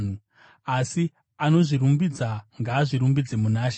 Asi, “Anozvirumbidza ngaazvirumbidze muna She.”